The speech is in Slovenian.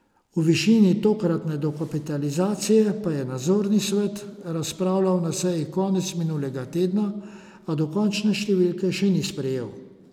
O višini tokratne dokapitalizacije pa je nadzorni svet razpravljal na seji konec minulega tedna, a dokončne številke še ni sprejel.